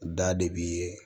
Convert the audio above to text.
Da de b'i ye